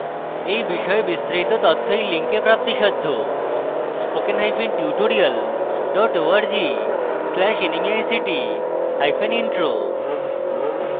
এই বিষয়ে বিস্তারিত তথ্য এই link প্রাপ্তিসাধ্য http:// spokentutorial org/nmeictintro